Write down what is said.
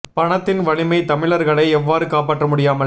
பணத்தின் வலிமை தமிழர்களை எவ்வாறு காப்பாற்ற முடியாமல்